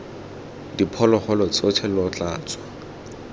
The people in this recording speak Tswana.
diphologolo tsotlhe lo tla tswa